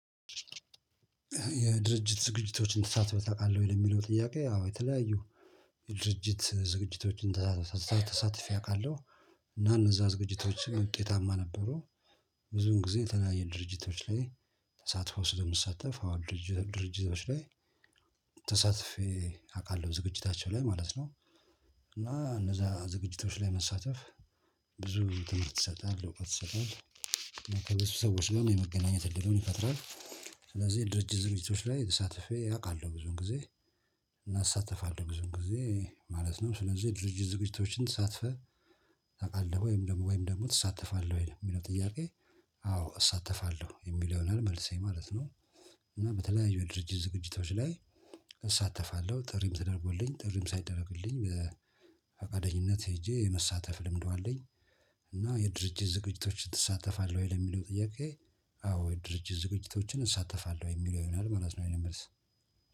የድርጅት ዝግጅቶችን ተሳትፈህ ታውቃለህ ወይ ለሚለው ጥያቄ? አዎ የተለያዩ የድርጅት ዝግጅቶችን ተሳትፊ አውቃለሁ እና እነዛ ዝግጅቶችን ውጤታማ ነበሩ። ብዙን ጊዜ የተናየ ድርጅቶች ላይ። ተሳትፎ ስለምትሳተፍ አዎ ድርጅቶች ላይ ተሳትፌ አውቃለሁ ዝግጅታቸው ላይ ማለት ነው። እና እነዛ ዝግጅቶች ላይ መሳተፍ ብዙ ትምህርት ይሰጣል እውቀት ይሰጣል። ከነሱ ሰዎች ጋር የመገናኘት እድልን ይፈጥራል። ስለዚህ ድርጅት ዝግጅቶች ላይ ተሳትፌ አውቃለሁ ብዙን ጊዜ። እና እሳተፋለሁ ብዙን ጊዜ ማለት ነው ስለዚህ የድርጅት ዝግጅቶችን ተሳትፈህ? ታውቃለህ ወይም ደግሞ ወይም ደግሞ ትሳተፋለህ ወይ የሚለው ጥያቄ? አዎ እሳተፋለሁ የሚለውን መልሴ ማለት ነው። እና በተለያዩ ድርጅት ዝግጅቶች ላይ እሳተፋለሁ ጥሪም ተደርጎልኝ ጥሪም ሳይደረግልኝ በፈቃደኝነት ሄጄ የመሳተፍ ልምዱ አለኝ። እና የድርጅት ዝግጅቶችን እሳተፋለሁ ወይ ለሚለው ጥያቄ? አዎ የድርጅት ዝግጅቶችን እሳተፋለሁ የሚለው የሆናል ማለት ነው የኔ መልስ